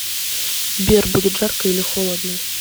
сбер будет жарко или холодно